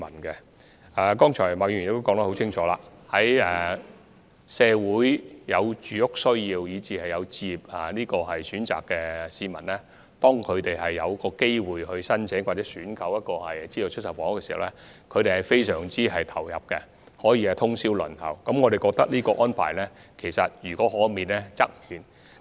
正如麥議員剛才所說，社會上有住屋需要以至置業需求的市民在遇上申請或選購資助出售房屋的機會時，往往會非常投入，甚至不惜通宵輪候申請，但我們認為這種情況應可免則免。